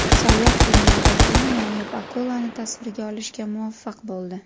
Sayyoh dunyodagi eng noyob akulani tasvirga olishga muvaffaq bo‘ldi .